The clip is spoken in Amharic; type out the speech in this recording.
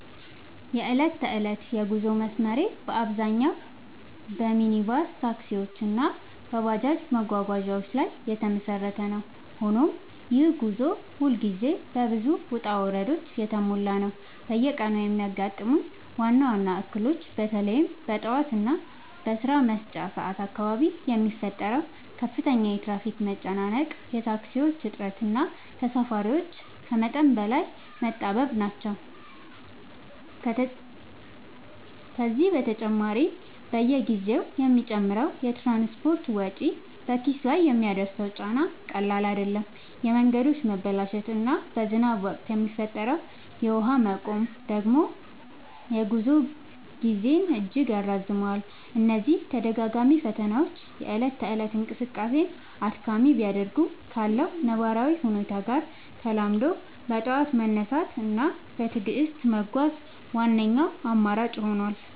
የዕለት ተዕለት የጉዞ መስመሬ በአብዛኛው በሚኒባስ ታክሲዎች እና በባጃጅ መጓጓዣዎች ላይ የተመሰረተ ነው፤ ሆኖም ይህ ጉዞ ሁልጊዜ በብዙ ውጣ ውረዶች የተሞላ ነው። በየቀኑ የሚያጋጥሙኝ ዋነኞቹ እክሎች በተለይም በጠዋት እና በስራ መውጫ ሰዓት አካባቢ የሚፈጠረው ከፍተኛ የትራፊክ መጨናነቅ፣ የታክሲዎች እጥረት እና ተሳፋሪዎች ከመጠን በላይ መጣበብ ናቸው። ከዚህ በተጨማሪ፣ በየጊዜው የሚጨምረው የትራንስፖርት ወጪ በኪስ ላይ የሚያደርሰው ጫና ቀላል አይደለም፤ የመንገዶች መበላሸት እና በዝናብ ወቅት የሚፈጠረው የውሃ መቆም ደግሞ የጉዞ ጊዜን እጅግ ያራዝመዋል። እነዚህ ተደጋጋሚ ፈተናዎች የእለት ተእለት እንቅስቃሴን አድካሚ ቢያደርጉትም፣ ካለው ነባራዊ ሁኔታ ጋር ተላምዶ በጠዋት መነሳት እና በትዕግስት መጓዝ ዋነኛው አማራጭ ሆኗል።